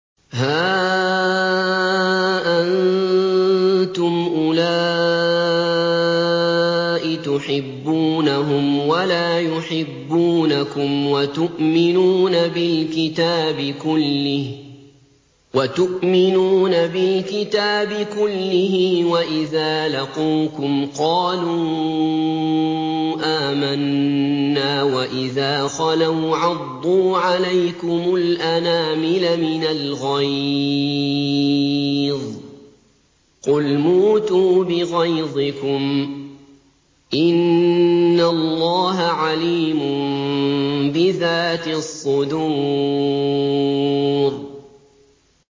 هَا أَنتُمْ أُولَاءِ تُحِبُّونَهُمْ وَلَا يُحِبُّونَكُمْ وَتُؤْمِنُونَ بِالْكِتَابِ كُلِّهِ وَإِذَا لَقُوكُمْ قَالُوا آمَنَّا وَإِذَا خَلَوْا عَضُّوا عَلَيْكُمُ الْأَنَامِلَ مِنَ الْغَيْظِ ۚ قُلْ مُوتُوا بِغَيْظِكُمْ ۗ إِنَّ اللَّهَ عَلِيمٌ بِذَاتِ الصُّدُورِ